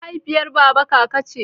Mahaifiyar baba kaka ce.